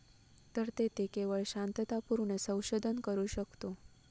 तर तेथे केवळ शांततापूर्ण संशोधन करू शकतो.